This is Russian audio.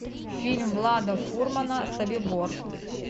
фильм влада фурмана собибор